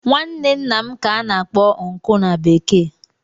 Nwanne ńnà m ka ana akpọ "uncle" na bekee.